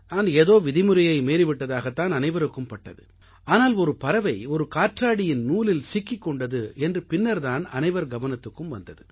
நான் ஏதோ விதிமுறையை மீறிவிட்டதாகத் தான் அனைவருக்கு பட்டது ஆனால் ஒரு பறவை ஒரு காற்றாடியின் நூலில் சிக்கிக் கொண்டது என்று பின்னர் தான் அனைவர் கவனத்துக்கும் வந்தது